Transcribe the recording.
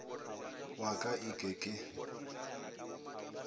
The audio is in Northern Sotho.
wa ka e ke ke